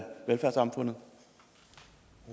velfærdssamfundet